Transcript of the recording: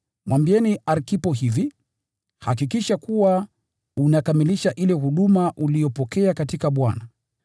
Mwambieni Arkipo hivi: “Hakikisha kuwa unakamilisha ile huduma uliyopokea katika Bwana.”